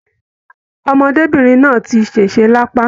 Ọmọdébinrin náà tí sese l'apa.